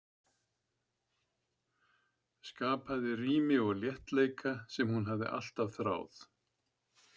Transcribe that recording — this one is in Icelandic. Skapaði rými og léttleika sem hún hafði alltaf þráð.